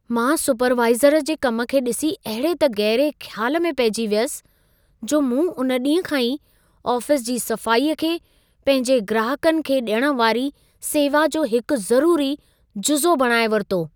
मां सुपरवाइज़र जे कम खे ॾिसी अहिड़े त गहिरे ख़्याल में पहिजी वियसि, जो मूं उन ॾींह खां ई आफ़ीस जी सफ़ाईअ खे पंहिंजे ग्राहकनि खे डि॒यणु वारी सेवा जो हिकु ज़रूरी जुज़ो बणाइ वरितो।